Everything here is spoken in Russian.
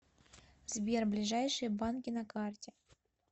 сбер ближайшие банки на карте